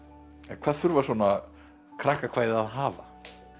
hvað þurfa svona krakkakvæði að hafa